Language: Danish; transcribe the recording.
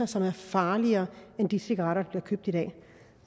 som er farligere end de cigaretter